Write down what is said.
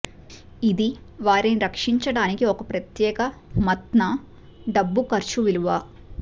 ఇది వారిని రక్షించడానికి ఒక ప్రత్యేక మత్ న డబ్బు ఖర్చు విలువ